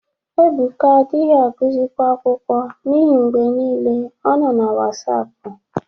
Ebụka adaghị agụzị kwa akwụkwọ n'ihi mgbe niile ọ nọ na Wasapụ.